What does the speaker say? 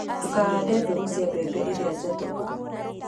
Ndũkahande mbegũ cia mbembe irĩa njatũku.